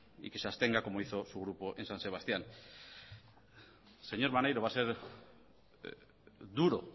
y que se abstenga como hizo su grupo en san sebastián señor maneiro va a ser duro